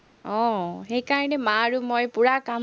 আহ সেইকাৰণে মা আৰু মই পুৰা কাম